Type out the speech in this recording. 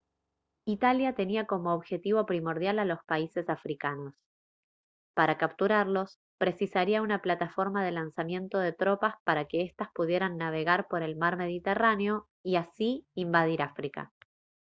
italia tenía como objetivo primordial a los países africanos para capturarlos precisaría una plataforma de lanzamiento de tropas para que estas pudieran navegar por el mar mediterráneo y así invadir áfrica